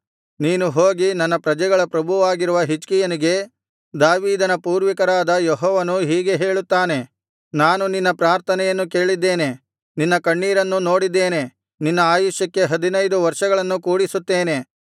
ನೀನು ಹೋಗಿ ನನ್ನ ಪ್ರಜೆಗಳ ಪ್ರಭುವಾಗಿರುವ ಹಿಜ್ಕೀಯನಿಗೆ ದಾವೀದನ ಪೂರ್ವಿಕರಾದ ಯೆಹೋವನು ಹೀಗೆ ಹೇಳುತ್ತಾನೆ ನಾನು ನಿನ್ನ ಪ್ರಾರ್ಥನೆಯನ್ನು ಕೇಳಿದ್ದೇನೆ ನಿನ್ನ ಕಣ್ಣೀರನ್ನು ನೋಡಿದ್ದೇನೆ ನಿನ್ನ ಆಯುಷ್ಯಕ್ಕೆ ಹದಿನೈದು ವರ್ಷಗಳನ್ನು ಕೂಡಿಸುತ್ತೇನೆ